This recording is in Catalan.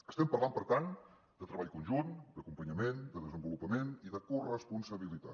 estem parlant per tant de treball conjunt d’acompanyament de desenvolupament i de corresponsabilitat